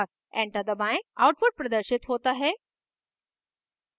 enter दबाएं output प्रदर्शित होता है: